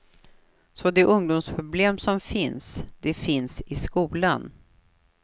Så de ungdomsproblem som finns, de finns i skolan.